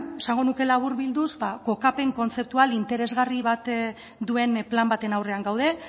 esango nuke laburbilduz kokapen kontzeptual interesgarri bat duen plan baten aurrean gaude